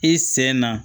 I sen na